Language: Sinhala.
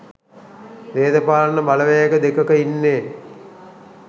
දේශපාලන බලවේග දෙකක ඉන්නේ.